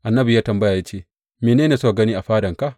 Annabi ya yi tambaya ya ce, Mene ne suka gani a fadanka?